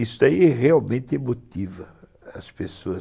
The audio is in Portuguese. Isso aí realmente motiva as pessoas.